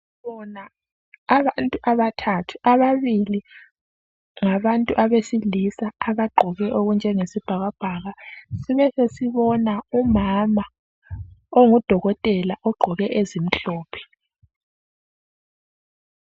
Sibona abantu abathathu ,ababili ngabantu ngabantu abesilisa abagqoke okutshenge sibhakabhaka sibesesibona umama ongudokotela ogqoke ezimhlophe.